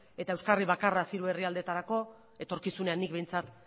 eta euskarri bakarraz hiru herrialdeetarako etorkizunean nik behintzat